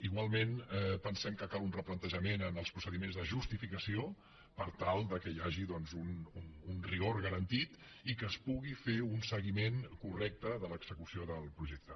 igualment pensem que cal un replantejament en els procediments de justificació per tal que hi hagi doncs un rigor garantit i que es pugui fer un seguiment correcte de l’execució del projecte